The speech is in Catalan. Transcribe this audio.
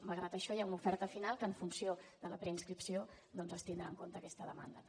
malgrat això hi ha una oferta final que en funció de la preinscripció doncs es tindrà en compte aquesta demanda també